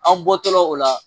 Anw bɔtɔla o la